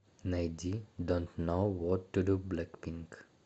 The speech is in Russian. найди донт ноу вот ту ду блэкпинк